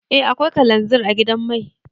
Eh akwai kalanzir a gidan mai.